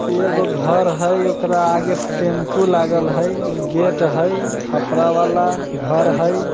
एगो घर हई | ओकरा आगे टेम्पू लागल हई | उ गेट हई खपरा वाला घर हई।